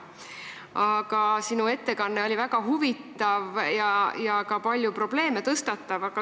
Aga sinu ettekanne oli väga huvitav ja tõstatas ka palju probleeme.